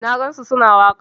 Na gansu su na waƙa.